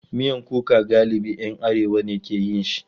Miyan kuka galibi ‘yan arewa ne ke yin shi.